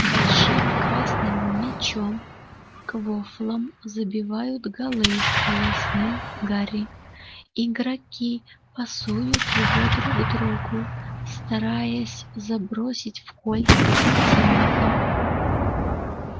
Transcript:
большим красным мячом квоффлом забивают голы пояснил гарри игроки пасуют его друг другу стараясь забросить в кольца противника